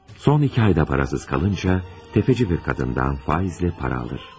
Son iki ayda parasız qalınca, tefeci bir qadından faizlə para alır.